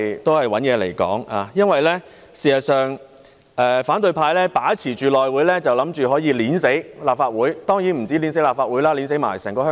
反對派議員以為只要把持內務委員會，便可以掐死立法會——當然不止立法會，還有整個香港。